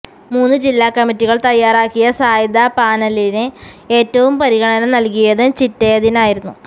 മൂന്നു ജില്ലാകമ്മിറ്റികള് തയാറാക്കിയ സാധ്യതാ പാനലില് ഏറ്റവും പരിഗണന നൽകിയതും ചിറ്റയത്തിനായിരുന്നു